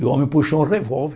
E o homem puxou um revólver.